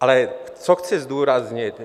Ale co chci zdůraznit?